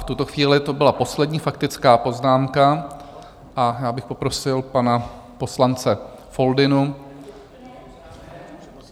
V tuto chvíli to byla poslední faktická poznámka a já bych poprosil pana poslance Foldynu.